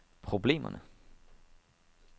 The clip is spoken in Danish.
problemerne